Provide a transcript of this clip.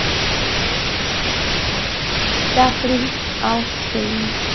চাকরি oustend